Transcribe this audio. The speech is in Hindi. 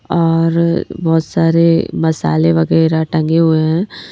और बहुत सारे मसाले वगैरह टंगे हुए हैं।